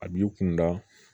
A b'i kunda